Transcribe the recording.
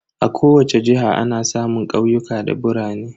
A kowace jiha ana samun ƙauyuka da birane.